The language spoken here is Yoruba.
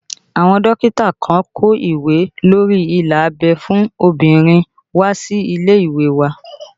Àwọn dókítà kan kó ìwé lórí ila abẹ́ fún obìnrin wá sí ilé ìwé wa